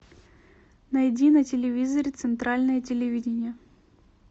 найди на телевизоре центральное телевидение